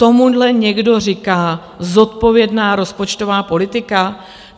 Tomuhle někdo říká zodpovědná rozpočtová politika?